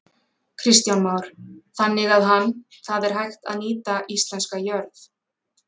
Kristján Már: Þannig að hann, það er hægt að nýta íslenska jörð?